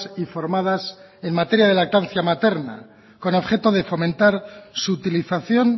y formadas en materia de lactancia materna con objeto de fomentar su utilización